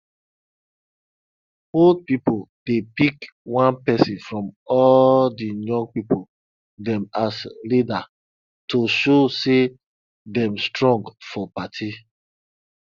old pipo dey pick one persin from all di young pipo dem as leader to show say dem strong for party